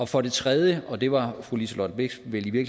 for det tredje og det var fru liselott blixt vel i